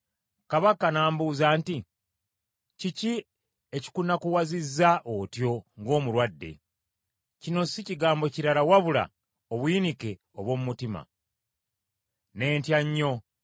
Kabaka n’ambuuza nti, “Kiki ekikunakuwazizza otyo ng’omulwadde? Kino si kigambo kirala wabula obuyinike obw’omu mutima.” Ne ntya nnyo,